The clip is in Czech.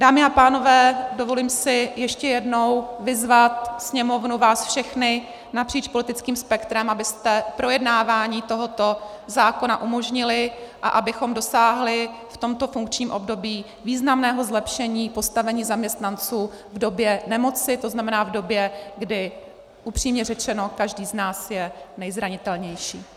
Dámy a pánové, dovolím si ještě jednou vyzvat Sněmovnu, vás všechny napříč politickým spektrem, abyste projednávání tohoto zákona umožnili a abychom dosáhli v tomto funkčním období významného zlepšení postavení zaměstnanců v době nemoci, to znamená v době, kdy upřímně řečeno každý z nás je nejzranitelnější.